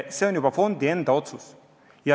See on juba fondi enda otsus.